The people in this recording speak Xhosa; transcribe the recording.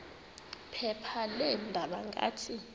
phepha leendaba ngathi